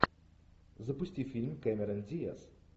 запусти фильм кэмерон диаз